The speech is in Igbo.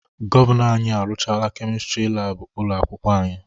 Gọvanọ anyị arụchaala Kemịstịrị laabụ ụlọ akwụkwọ anyị.